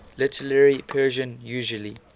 literary persian usually